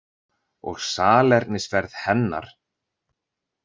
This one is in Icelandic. Og salernisferð hennar.